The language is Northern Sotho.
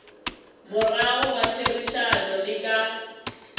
morago ga therišano le ka